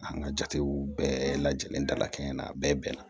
An ka jatew bɛɛ lajɛlen dala kɛɲɛ na a bɛɛ bɛnna